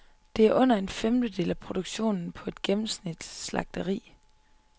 Det er under en femtedel af produktionen på et gennemsnitligt slagteri.